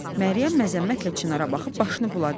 Məryəm məzəmmətlə Çinara baxıb başını buladı.